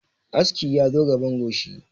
Aski ya zo gaban goshi